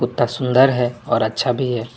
ता सुंदर है और अच्छा भी है।